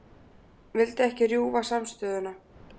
Vildi ekki rjúfa samstöðuna